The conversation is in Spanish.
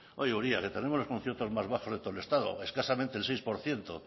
oye uria que tenemos los conciertos más bajos de todo el estado escasamente el seis por ciento